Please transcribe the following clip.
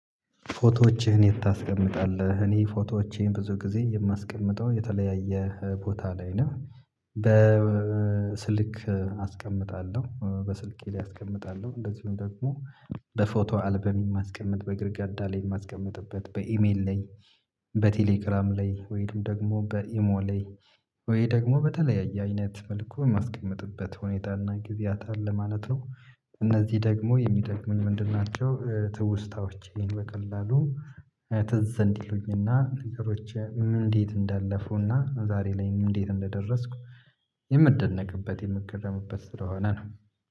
ፎቶዎችህን የት ታስቀምጣለህ? እኔ ፎቶወቼን ብዙ ጊዜ የማስቀምጠው የተለያየ ቦታ ላይ ነው። በስልክ አስቀምጣለሁ በስልኬ ላይ አስቀምጣለሁ እንደዚሁም ደግሞ በፎቶ አልበም የማስቀምጥ በግርግዳ ላይ የማስቀምጥበት በኢሜል ላይ በቴሌግራም ላይ ወይም ደግሞ በኢሞ ላይ ወይም ደግሞ በተለያየ አይነት መልኩ ማስቀመጥበት ሁኔታና ጊዜያት አለ ማለት ነው። እነዚህ ደግሞ የሚጠቅሙኝ ምንድን ናቸው? ትውስታዎችን በቀላሉ ዘንድ ይሉኝና ነገሮች እንዴት እንዳለፉና ዛሬ ላይም እንዴት እንደደረስኩ የምደነቅበት የምገረምበት ስለሆነ ነው